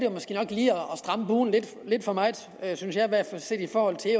stramme buen lidt for meget synes jeg i hvert fald set i forhold til